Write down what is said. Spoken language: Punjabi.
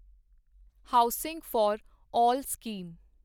housing for all scheme